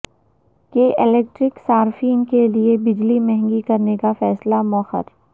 کے الیکٹرک صارفین کےلئے بجلی مہنگی کرنے کا فیصلہ موخر